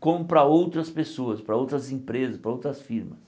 como para outras pessoas, para outras empresas, para outras firmas.